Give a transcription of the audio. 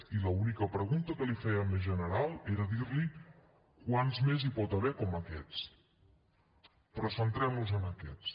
i l’única pregunta que li feia més general era dir li quants més n’hi pot haver com aquests però centrem nos en aquests